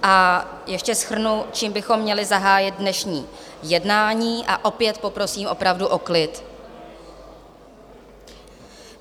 A ještě shrnu, čím bychom měli zahájit dnešní jednání, a opět poprosím opravdu o klid.